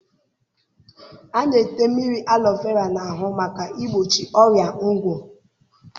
A na-ete mmiri alọ vera n'ahụ maka igbochi ọrịa ngwọ.